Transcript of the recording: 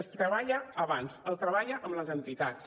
es treballa abans es treballa amb les entitats